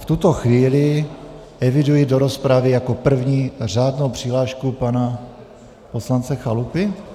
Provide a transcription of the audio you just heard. V tuto chvíli eviduji do rozpravy jako první řádnou přihlášku - pana poslance Chalupy?